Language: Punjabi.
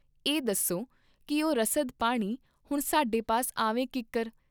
ਇਹ ਦੱਸੋ ਕੀ ਉਹ ਰਸਦ ਪਾਣੀ ਹੁਣ ਸਾਡੇ ਪਾਸ ਆਵੇ ਕੀੰਕੁਰ?